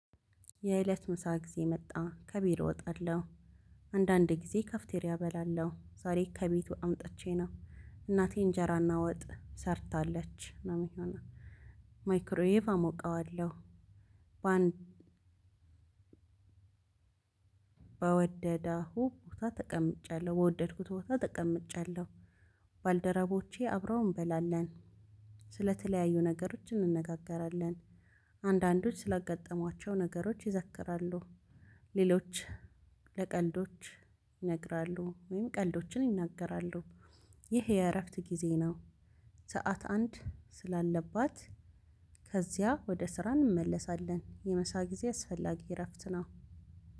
የእለት ምሳ ጊዜ መጣ ከቤት እወጣለሁ። አንዳንድ ጊዜ ካፍተሪያ እበላለሁ ዛሬ ከቤቱ አምጥቼ ነው እናቴ እንጀራ እናወጥ ሰርታለች ነው ሚሆነው ማይክሮዬቭ አሞቀዋለሁ። በአንድ በወደደው ቦታ ተቀምጫለሁ በወደድኩት ቦታ ተቀምጫለሁ። ባልደረቦቼ አብረው እንበላለን። ስለተለያዩ ነገሮች እንነጋገራለን። አንዳንዶች ስላጋጠሟቸው ነገሮች ይዘክራሉ። ሌሎች ለቀልዶች ይነግራሉ ወይም ቀልዶችን ይናገራሉ። ይህ የእረፍት ጊዜ ነው። ሰዓት አንድ ስላለባት ከዚያ ወደ ስራ እንመለሳለን። የምሳ ጊዜ አስፈላጊ እረፍት ነው።